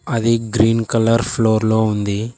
అది green colour floor లో ఉంది.